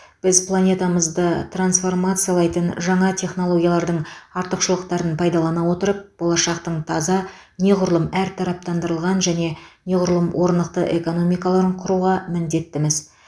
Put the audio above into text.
біз планетамызды трансформациялайтын жаңа технологиялардың артықшылықтарын пайдалана отырып болашақтың таза неғұрлым әртараптандырылған және неғұрлым орнықты экономикаларын құруға міндеттіміз